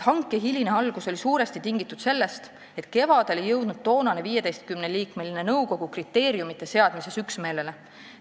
Hanke hiline algus oli suuresti tingitud sellest, et kevadel ei jõudnud toonane 15-liikmeline nõukogu kriteeriumite seadmises üksmeelele.